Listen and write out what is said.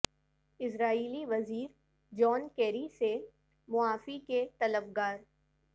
اسرائیلی وزیر John Kerry سے معافی کے طلب گار